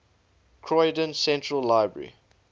croydon central library